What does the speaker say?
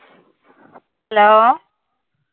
Hello